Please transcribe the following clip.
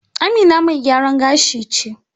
Amina mai gyaran gashi ce.